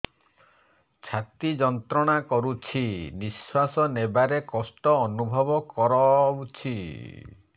ଛାତି ଯନ୍ତ୍ରଣା କରୁଛି ନିଶ୍ୱାସ ନେବାରେ କଷ୍ଟ ଅନୁଭବ କରୁଛି